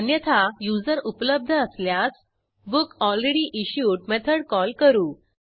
अन्यथा युजर उपलब्ध असल्यास बुकलरेडीइश्युड मेथड कॉल करू